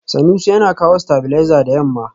Sanusi yana kawo stabilizer da yamma.